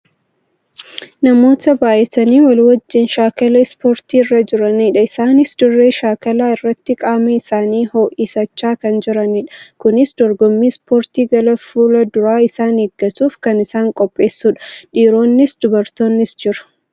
namoota baayatanii wal wajjin shaakala ispoortii irra jiranidha. isaanis dirree shaakalaa irratti qaama isaanii ho'isachaa kan jiranidha. kunis dorgommii ispoortii gara fuulduraa isaan eeggatuuf kan isaan qopheessudha. Dhiironnis dubartoonnis jiru.